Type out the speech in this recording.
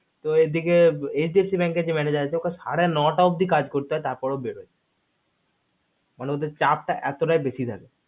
তো এইদিকে HDFC এর manager আসে ওকে সাড়ে নয়টা অব্দি কাজ করতে হয় তার পার ও বের হয় তার মানে ওদের চাপ তা এতটাই বেশি থাকে